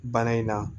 Bana in na